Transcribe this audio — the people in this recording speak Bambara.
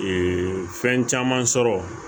fɛn caman sɔrɔ